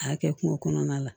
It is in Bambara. A kɛ kungo kɔnɔna la